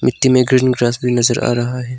मिट्टी में green grass भी नजर आ रहा है।